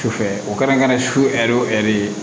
Sufɛ o kɛra su ɛri o ɛri ye